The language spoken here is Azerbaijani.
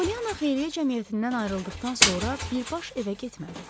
Polyana xeyriyyə cəmiyyətindən ayrıldıqdan sonra birbaşa evə getmədi.